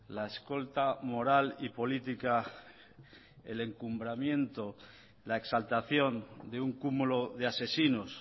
la escolta moral y política el encumbramiento la exaltación de un cúmulo de asesinos